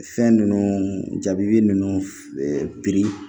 Fɛn ninnu jabi ninnu ɛɛ biri